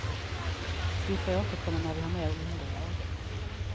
Vi får återkomma när vi har mer underlag.